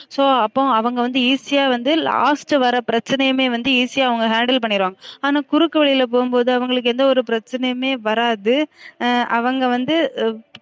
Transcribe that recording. So அப்போ அவுங்க வந்து easy அ வந்து last வர பிரச்சனையுமே வந்து easy யா அவுங்க handle பண்ணிருவாங்க ஆனா குறுக்கு வழில போகும்போது அவுங்களுக்கு எந்த ஒரு பிரச்சனையுமே வராது அவுங்க வந்து